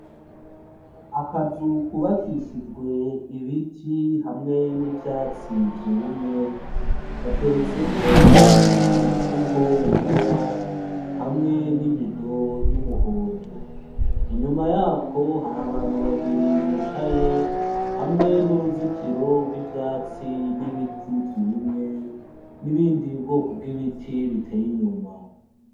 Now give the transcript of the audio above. Akazu kubakishijwe ibiti hamwe n'ivyatsi vyumye, gateretseko umufuko wera, hamwe n'ibido y'umuhondo, inyuma yako hari abantu babiri bicaye, hamwe n'uruzitiro rw'ivyatsi, n'ibiti vyumye, n'ibindi bwoko bw'ibiti biteye inyuma.